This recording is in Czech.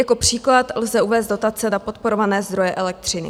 Jako příklad lze uvést dotace na podporované zdroje elektřiny.